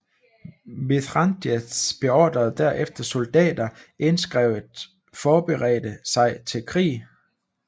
Mithridates beordrede derefter soldater indskrevet forberedte sig til krig